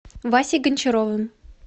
васей гончаровым